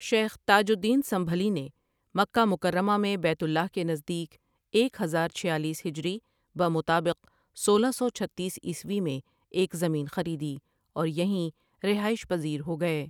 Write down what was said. شیخ تاج الدین سنبھلی نے مکہ مکرمہ میں بیت اللہ کے نزدیک ایک ہزار چھیالیس ہجری بمطآبق سولہ سو چھتیس عیسوی میں ایک زمین خریدی اور یہیں رہائش پزیر ہو گئے۔